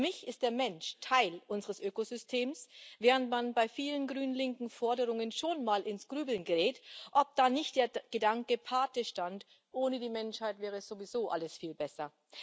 Für mich ist der Mensch Teil unseres Ökosystems, während man bei vielen grün linken Forderungen schon mal ins Grübeln gerät, ob da nicht der Gedanke Pate stand, ohne die Menschheit wäre sowieso alles viel besser.